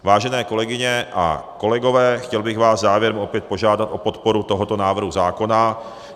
Vážené kolegyně a kolegové, chtěl bych vás závěrem opět požádat o podporu tohoto návrhu zákona.